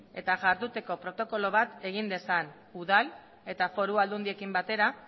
eta iharduteko protokolo bat egin dezan udal eta foru aldundiekin batera